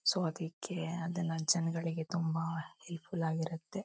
So ಅದಿಕ್ಕೆ ಅದೆಲ್ಲ ಜನಗಳಿಗೆ ತುಂಬಾ ಹೆಲ್ಪ್ ಫುಲ್ ಆಗಿರುತ್ತೆ .